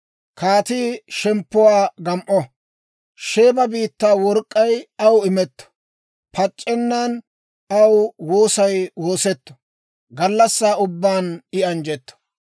Kaatii shemppuwaa gam"o; Sheeba biittaa work'k'ay aw imetto. Pac'c'ennan aw woosay woosetto; gallassaa ubbaan I anjjetto.